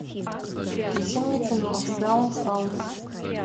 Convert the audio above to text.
включи мне кино даун хаус